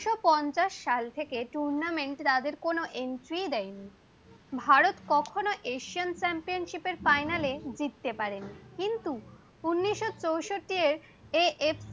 so পঞ্চাশ সাল থেকে টুনার্মেন্ট তাদের কোন এন্ট্রি দেয়নি ভারত কখনোই এশিয়ান চ্যাম্পিয়নশিপের ফাইনালে জিততে পারেনি কিন্তু উনিশ সো চৌষট্টি এর af